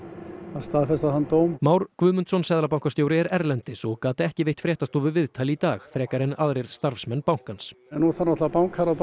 að staðfesta þann dóm Már Guðmundsson seðlabankastjóri er erlendis og gat ekki veitt fréttastofu viðtal í dag frekar en aðrir starfsmenn bankans nú þarf bara bankaráð